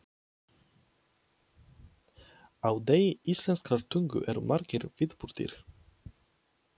Á degi íslenskrar tungu eru margir viðburðir.